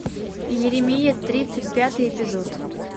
иеремия тридцать пятый эпизод